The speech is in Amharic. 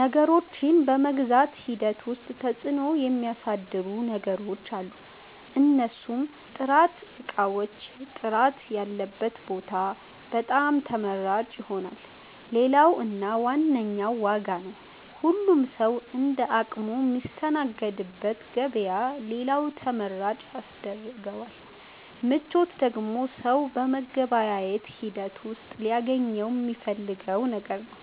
ነገሮችን በመግዛት ሂደት ዉስጥ ተፅዕኖ ሚያሣድሩ ነገሮች አሉ። እነርሡም፦ ጥራት እቃዎቹ ጥራት ያለበት ቦታ በጣም ተመራጭ ይሆናል። ሌላው እና ዋነኛው ዋጋ ነው ሁሉም ሠዉ እንደ አቅሙ ሚስተናገድበት ገበያ ሌላው ተመራጭ ያስደርገዋል። ምቾት ደግሞ ሠው በመገበያየት ሂደት ውሥጥ ሊያገኘው ሚፈልገው ነገር ነው።